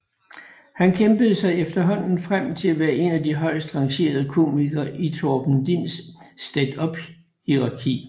Han kæmpede sig efterhånden frem til at være en af de højest rangerede komikere i Torben Dins standuphierarki